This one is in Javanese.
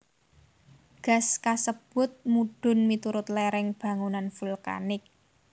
Gas kasebut mudhun miturut lereng bangunan vulkanik